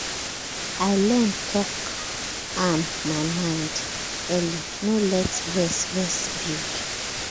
i learn talk am my mind early no let vex vex build